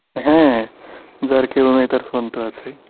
হ্যাঁ যার কেউ নেই তার phone তো আছেই